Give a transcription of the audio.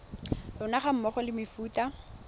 lona ga mmogo le mefuta